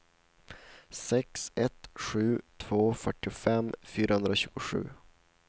sex ett sju två fyrtiofem fyrahundratjugosju